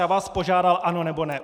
Já vás požádal - ano, nebo ne.